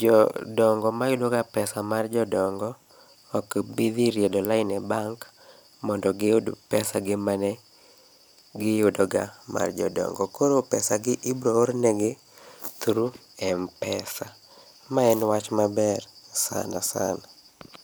jodongo mayudaga pesa mar jodongo okbidhi riedo line e bank mondo giyud pesa gi mane giyudoga mar jodongo. Koro pesa gi ibroornegi through M-pesa. Ma wach maber sana sana.